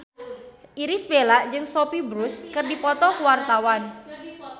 Irish Bella jeung Sophia Bush keur dipoto ku wartawan